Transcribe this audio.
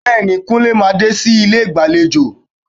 Bẹ́ẹ̀ni, Kúnlé máa dé sí ilé ìgbàlejò